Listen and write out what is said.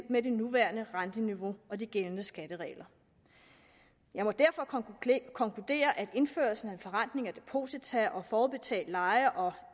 med det nuværende renteniveau og de gældende skatteregler jeg må derfor konkludere at indførelsen af en forrentning af deposita og forudbetalt leje og